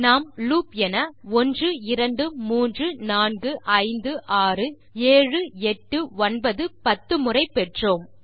நாம் லூப் என 1234567810 முறை பெற்றோம்